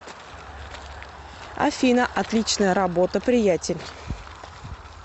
афина отличная работа приятель